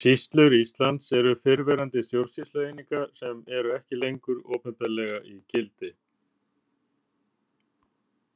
Sýslur Íslands eru fyrrverandi stjórnsýslueiningar sem eru ekki lengur opinberlega í gildi.